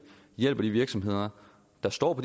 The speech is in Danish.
hjælper de virksomheder der står på